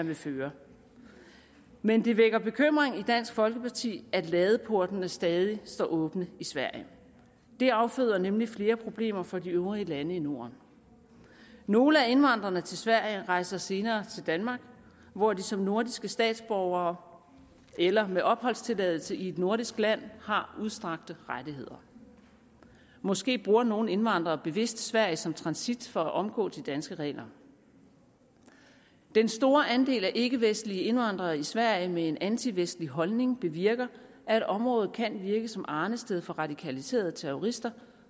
vil føre men det vækker bekymring i dansk folkeparti at ladeportene stadig står åbne i sverige det afføder nemlig flere problemer for de øvrige lande i norden nogle af indvandrerne til sverige rejser senere til danmark hvor de som nordiske statsborgere eller med opholdstilladelse i et nordisk land har udstrakte rettigheder måske bruger nogle indvandrere bevidst sverige som transit for at omgå de danske regler den store andel af ikkevestlige indvandrere i sverige med en antivestlig holdning bevirker at området kan virke som arnested for radikaliserede terrorister